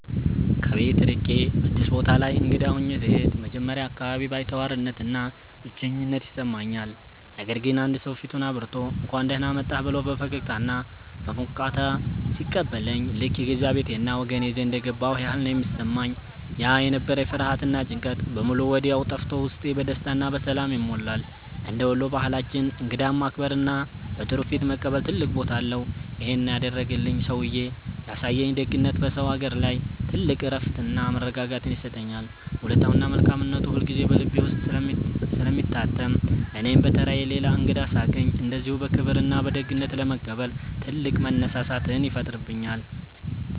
ከቤት ርቄ አዲስ ቦታ ላይ እንግዳ ሆኜ ስሄድ መጀመሪያ አካባቢ ባይተዋርነትና ብቸኝነት ይሰማኛል። ነገር ግን አንድ ሰው ፊቱን አብርቶ፣ «እንኳን ደህና መጣህ» ብሎ በፈገግታና በሞቅታ ሲቀበለኝ ልክ የገዛ ቤቴና ወገኔ ዘንድ የገባሁ ያህል ነው የሚሰማኝ። ያ የነበረኝ ፍርሃትና ጭንቀት በሙሉ ወዲያው ጠፍቶ ውስጤ በደስታና በሰላም ይሞላል። እንደ ወሎ ባህላችን እንግዳን ማክበርና በጥሩ ፊት መቀበል ትልቅ ቦታ አለው። ይሄን ያደረገልኝ ሰውዬ ያሳየኝ ደግነት በሰው አገር ላይ ትልቅ እረፍትና መረጋጋትን ይሰጠኛል። ውለታውና መልካምነቱ ሁልጊዜ በልቤ ውስጥ ስለሚታተም እኔም በተራዬ ሌላ እንግዳ ሳገኝ እንደዚሁ በክብርና በደግነት ለመቀበል ትልቅ መነሳሳትን ይፈጥርብኛል።